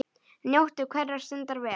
Njóttu hverrar stundar vel.